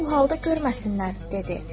Məni bu halda görməsinlər, dedi.